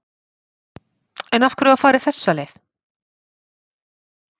En af hverju var farið þessa leið?